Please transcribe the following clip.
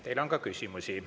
Teile on ka küsimusi.